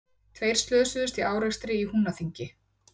Tveir slösuðust í árekstri í Húnaþingi